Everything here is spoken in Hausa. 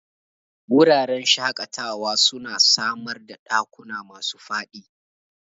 Wuraren shakatawa suna samar ɗakuna masu faɗi